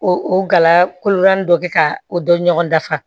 O o gala koro dɔ be ka o dɔ ɲɔgɔn dafa